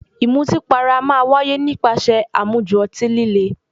Ìmutípara a máa wáyé nípasẹ̀ àmujù ọtí líle.